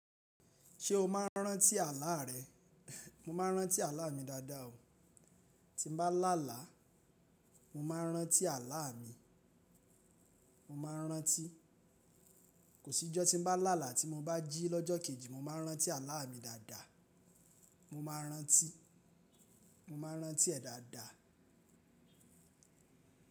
Ṣé o máa rántí àlá rẹ? Mo máa rántí àlá mi dáadáa o. Tí mo bá lálàá, mo máa n rántí àlá mi. Mo máa rántí. Kò sí jọ́ tí n bá lálàá tí mo bá jí lọ́jọ́ kejì mo máa n rántí àlá mi dáadáa. Mo máa rántí. Mo máa rántí ẹ̀ dáadáa.